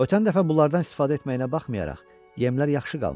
Ötən dəfə bunlardan istifadə etməyinə baxmayaraq, yemlər yaxşı qalmışdı.